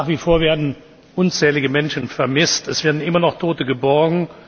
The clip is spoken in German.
Nach wie vor werden unzählige Menschen vermisst. Es werden immer noch Tote geborgen.